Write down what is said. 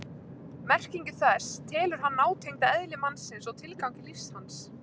Merkingu þess telur hann nátengda eðli mannsins og tilgangi lífs hans.